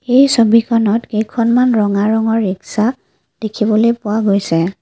এই ছবিখনত কেইখনমান ৰঙা ৰঙৰ ৰিক্সা দেখিবলৈ পোৱা গৈছে।